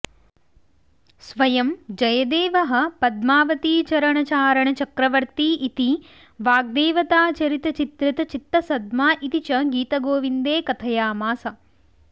स्वयं जयदेवः पद्मावतीचरणचारणचक्रवर्ती इति वाग्देवताचरितचित्रितचित्तसद्मा इति च गीतगोविन्दे कथयामास